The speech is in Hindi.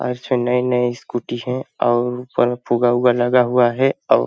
अच्छे नए-नए स्कूटी है अउर ऊपर में फुवावा लगा हुआ है आउ --